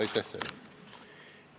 Aitäh teile!